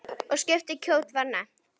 Og skip kjóll var nefnt.